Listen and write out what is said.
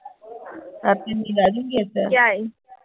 ਰਾਤੀ ਨੀਂਦ ਆ ਗਈ ਥੀ